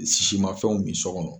Sisi ma fɛnw min so kɔnɔ